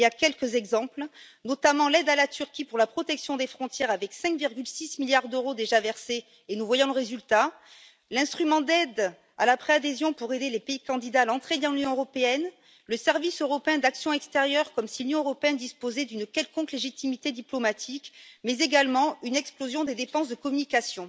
À titre d'exemple, je citerai notamment l'aide à la Turquie pour la protection des frontières, avec 5,6 milliards d'euros déjà versés, et nous voyons le résultat, l'instrument d'aide à la pré adhésion pour aider les pays candidats à l'entrée dans l'Union européenne, le Service européen pour l'action extérieure, comme si l'Union européenne disposait d'une quelconque légitimité diplomatique, mais également une explosion des dépenses de communication.